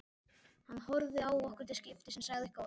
Hann horfði á okkur til skiptis en sagði ekki orð.